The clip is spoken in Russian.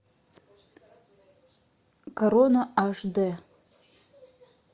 корона аш дэ